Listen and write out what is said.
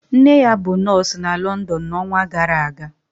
Nne ya bụ nọọsụ na London n'ọnwa gara aga